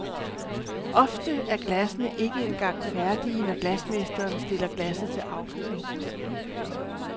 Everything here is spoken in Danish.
Ofte er glassene ikke engang færdige, når glasmesteren stiller glasset til afkøling.